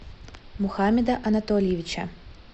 мухамеда анатольевича